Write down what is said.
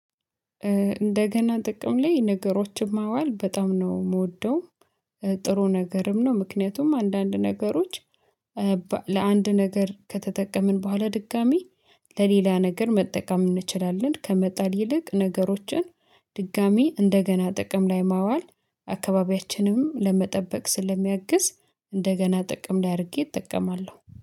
እንደገና ጥቅም ላይ ነገሮችን ማዋል በጣም ነው የምወደው ጥሩ፤ ነገርም ነው ምክንያቱም አንዳንድ ነገሮች ለአንድ ነገር ከተጠቀምን በኋላ ድጋሚ ለሌላ ነገር መጠቀም እንችላለን፤ ከመጣል ይልቅ ነገሮችን ድጋሚ እንደገና ጥቅም ላይ ማዋል አካባቢያችንንም ለመጠበቅ ስለሚያግዝ እንደገና ጥቅም ላድርጌ እጠቀማለሁ።